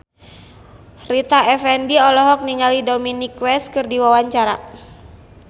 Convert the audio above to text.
Rita Effendy olohok ningali Dominic West keur diwawancara